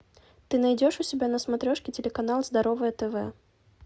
ты найдешь у себя на смотрешке телеканал здоровое тв